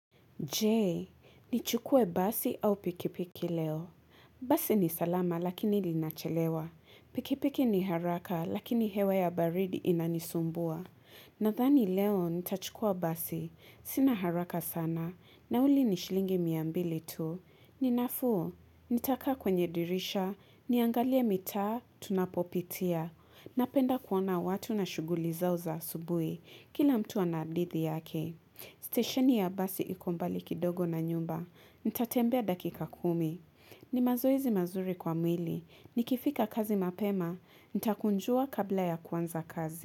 Je, nichukue basi au pikipiki leo. Basi ni salama lakini linachelewa. Pikipiki ni haraka lakini hewa ya baridi inanisumbua. Nadhani leo nitachukua basi. Sina haraka sana nauli ni shilingi mia mbili tu. Ni nafuu, nitaka kwenye dirisha, niangalie mita, tunapopitia. Napenda kuona watu na shuguli zao za asubuhi. Kila mtu ana hadithi yake. Station ya basi iko mbali kidogo na nyumba, nitatembea dakika kumi ni mazoezi mazuri kwa mwili, nikifika kazi mapema, nitakunjua kabla ya kwanza kazi.